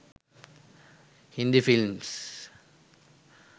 hindi films